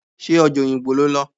Ṣé ọjà Oyingbo lo lọ?